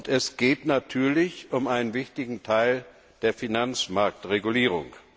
Es geht natürlich um einen wichtigen Teil der Finanzmarktregulierung.